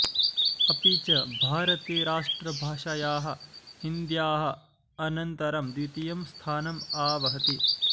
अपि च भारते राष्ट्रभाषायाः हिन्द्याः अनन्तरं द्वितीयं स्थानम् आवहति